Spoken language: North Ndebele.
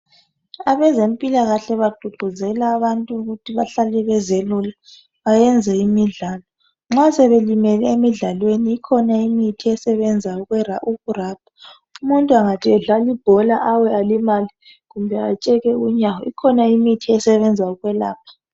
Abezempilakahle bagqugquzela abantu ukuthi bahlale bezelula bayenze imidlalo. Nxa sebelimele emidlalweni ikhona imithi esebenza ukurabha. Umuntu engathi edlali ibhola awe alimale kumbe atsheke unyawo kukhona imithi esebenza ukwelapha.